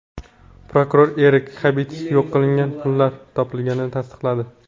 Prokuror Erix Xabitsl yo‘q qilingan pullar topilganini tasdiqladi.